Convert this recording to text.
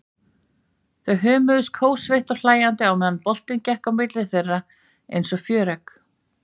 Þau hömuðust kófsveitt og hlæjandi á meðan boltinn gekk á milli þeirra einsog fjöregg.